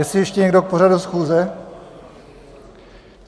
Jestli ještě někdo k pořadu schůze?